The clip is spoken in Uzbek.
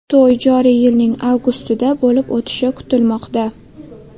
To‘y joriy yilning avgustida bo‘lib o‘tishi kutilmoqda.